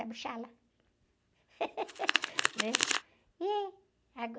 Né? Ih...